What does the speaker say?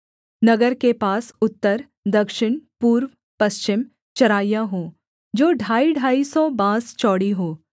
नगर के पास उत्तर दक्षिण पूर्व पश्चिम चराइयाँ हों जो ढाईढाई सौ बाँस चौड़ी हों